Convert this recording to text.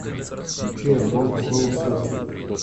включи альбом соул серфинг